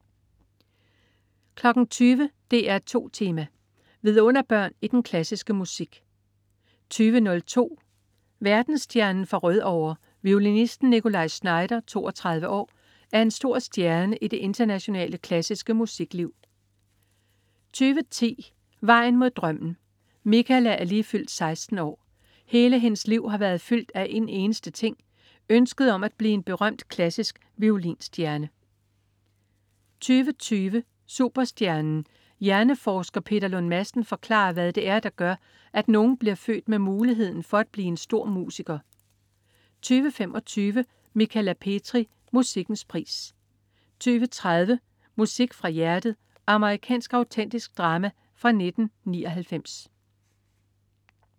20.00 DR2 Tema: Vidunderbørn i den klassiske musik 20.02 Verdensstjernen fra Rødovre. Violinisten Nikolaj Znaider, 32 år, er en stor stjerne i det internationale klassiske musikliv 20.10 Vejen mod drømmen. Michala er lige fyldt 16 år. Hele hendes liv har været fyldt af en eneste ting: Ønsket om at blive en berømt klassisk violinstjerne 20.20 Superstjernen. Hjerneforsker Peter Lund Madsen forklarer, hvad det er, der gør, at nogle bliver født med muligheden for at blive store musikere 20.25 Michala Petri. Musikkens pris 20.30 Musik fra hjertet. Amerikansk autentisk drama fra 1999